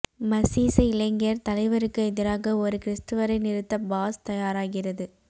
மசீச இளைஞர் தலைவருக்கு எதிராக ஒரு கிறிஸ்துவரை நிறுத்த பாஸ் தயாராகிறது